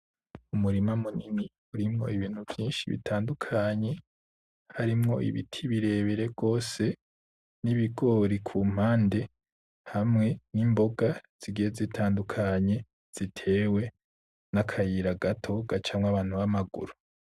Umurima munini urimwo ibintu vyinshi bitandukanye, harimwo ibiti birebire gose n'ibigori ku mpande, hamwe n'imboga zigiye zitandukanye zitewe, n'akayira gato gacamwo abantu ba maguru.